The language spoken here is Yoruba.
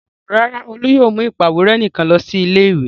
Rárá, Olú yóò mú ìpàwérẹ́ nìkan lọ ilé-ìwé.